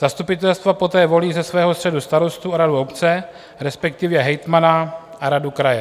Zastupitelstva poté volí ze svého středu starostu a radu obce, respektive hejtmana a radu kraje.